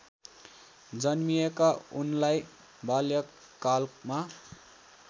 जन्मिएका उनलाई बाल्यकालमा